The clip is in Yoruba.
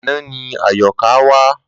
Àná ni Àyọ̀ká wá.